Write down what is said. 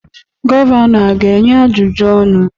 Gọvanọ a ga-enye ajụjụ ọnụ?